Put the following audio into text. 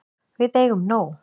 Við eigum nóg.